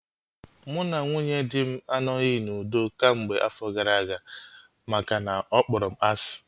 Mụ na nwunye dị m anoghi n'udo kemgbe afọ gara aga makana ọ kpọrọ m asị